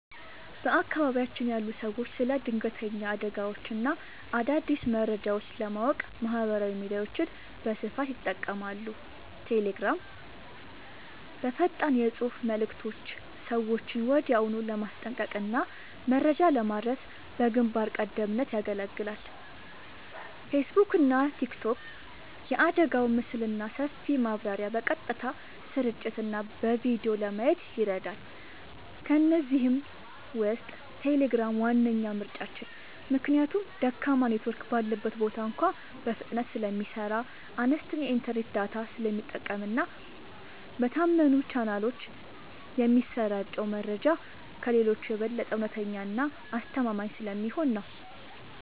በአካባቢያችን ያሉ ሰዎች ስለ ድንገተኛ አደጋዎችና አዳዲስ መረጃዎች ለማወቅ ማህበራዊ ሚዲያዎችን በስፋት ይጠቀማሉ። ቴሌግራም፦ በፈጣን የፅሁፍ መልዕክቶች ሰዎችን ወዲያውኑ ለማስጠንቀቅና መረጃ ለማድረስ በግንባር ቀደምትነት ያገለግላል። ፌስቡክና ቲክቶክ፦ የአደጋውን ምስልና ሰፊ ማብራሪያ በቀጥታ ስርጭትና በቪዲዮ ለማየት ይረዳሉ። ከእነዚህ ውስጥ ቴሌግራም ዋነኛ ምርጫችን ነው። ምክንያቱም ደካማ ኔትወርክ ባለበት ቦታ እንኳ በፍጥነት ስለሚሰራ፣ አነስተኛ የኢንተርኔት ዳታ ስለሚጠቀምና በታመኑ ቻናሎች የሚሰራጨው መረጃ ከሌሎቹ የበለጠ እውነተኛና አስተማማኝ ስለሚሆን ነው።